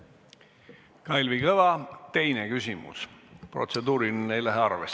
Kalvi Kõva, teine küsimus, protseduuriline ei lähe arvesse.